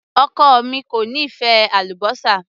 Ọkọ mi kò nífẹ̀ẹ́ àlúbósà.